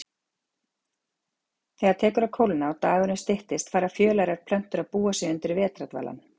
Þegar tekur að kólna og dagurinn styttist fara fjölærar plöntur að búa sig undir vetrardvalann.